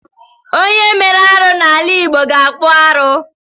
Onye mere arụ n’ala Igbo ga-akpụ arụ